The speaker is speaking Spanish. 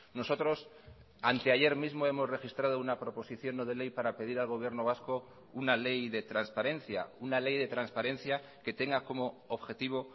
nosotros anteayer mismo hemos registrado una proposición no de ley para pedir al gobierno vasco una ley de transparencia una ley de transparencia que tenga como objetivo